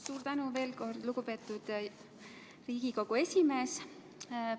Suur tänu veel kord, lugupeetud Riigikogu esimees!